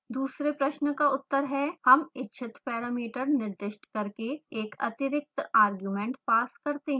दूसरे प्रश्न का उत्तर है